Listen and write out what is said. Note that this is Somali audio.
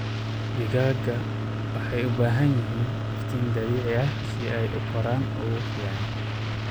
Digaaga waxay u baahan yihiin iftiin dabiici ah si ay u koraan ugu fiican.